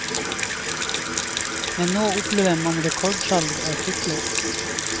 Men nå opplever man rekordsalg av sykler.